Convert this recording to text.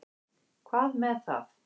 Hvað með það.